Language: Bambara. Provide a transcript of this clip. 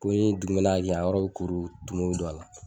Ko ni dugumɛnɛ y'a kin a yɔrɔ bɛ kuru tumu bɛ don a la